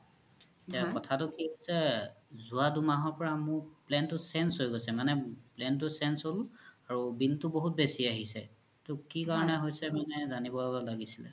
কথা কি হৈছে যোৱা দুদিন পৰা মোৰ plan তু change হয় গোইছে মানে plan তু change হ'ল আৰু bill তু বহুত বেচি আহিছে সেইতু কি কৰোনে হৈছে মানে জানিব লাগিছিলে